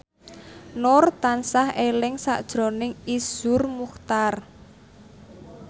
Nur tansah eling sakjroning Iszur Muchtar